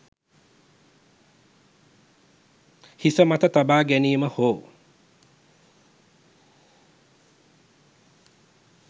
හිස මත තබා ගැනීම හෝ